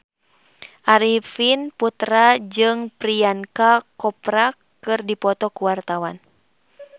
Arifin Putra jeung Priyanka Chopra keur dipoto ku wartawan